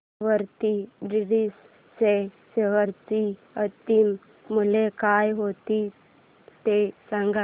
Avanti feeds च्या share चे अंतिम मूल्य काय होते ते सांगा